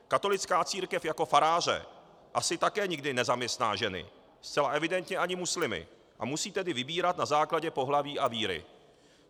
Katolická církev jako faráře asi také nikdy nezaměstná ženy, zcela evidentně ani muslimy, a musí tedy vybírat na základě pohlaví a víry.